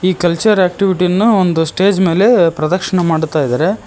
ಈ culture activity ಅನ್ನು ಒಂದು ಸ್ಟೇಜ್ ಮೆಲೆ ಪ್ರದಕ್ಶನ ಮಾಡ್ತಾಇದಾರೆ.